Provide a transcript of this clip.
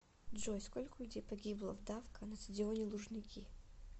джой сколько людей погибло в давка на стадионе лужники